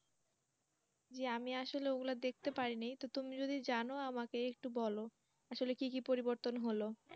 জি আমি আসলে ওগুলো দেখতে পারিনি তো তুমি যদি জানো আমাকে একটু বল আসলে কি কি পরিবর্তন হলো